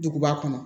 Duguba kɔnɔ